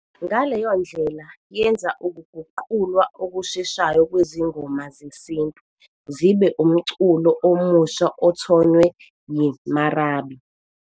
ngaleyo ndlela yenza ukuguqulwa okusheshayo kwezingoma zesintu zibe umculo omusha othonywe yi-marabi